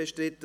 Gut